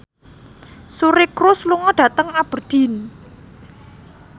Suri Cruise lunga dhateng Aberdeen